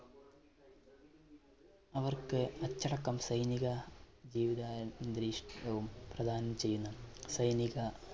അവർക്ക് അച്ചടക്കം സൈനിക ജീവിതാന്തരീക്ഷവും പ്രധാനം ചെയ്യുന്ന സൈനിക,